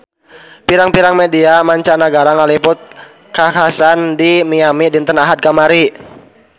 Pirang-pirang media mancanagara ngaliput kakhasan di Miami dinten Ahad kamari